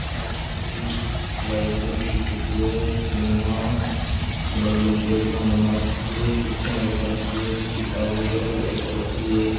आ एक लाइब्रेरी की फोटू है जीके मा अलग अलग टेबलां बना रखी है कुर्सियां भी रख रखी है किताब वगैरा भी रख रखी है।